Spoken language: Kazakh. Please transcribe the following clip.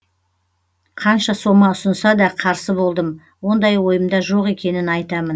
қанша сома ұсынса да қарсы болдым ондай ойымда жоқ екенін айтамын